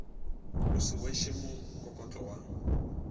o se kweše mokokotlo wa